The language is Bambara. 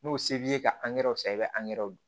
N'o se b'i ye ka angɛrɛw san i bɛ angɛrɛ don